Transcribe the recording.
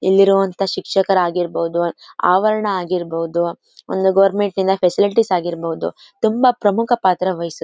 ಇಲ್ಲಿರೋ ಅಂತ ಶಿಕ್ಷಕರ್ ಆಗಿರ್ಬೋದು ಆವರಣ ಆಗಿರ್ಬೋದು ಒಂದು ಗವರ್ನಮೆಂಟ್ ಇಂದ ಫೆಸಿಲಿಟಿ ಆಗಿರ್ಬೋದು ತುಂಬಾ ಪ್ರಮುಖ ಪಾತ್ರ ವಹಿಸುತ್ತೆ.